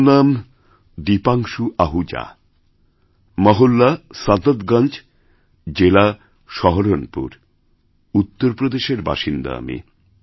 আমারনাম দীপাংশু আহুজা মহল্লা সাদতগঞ্জ জেলা সহরণপুর উত্তর প্রদেশের বাসিন্দা আমি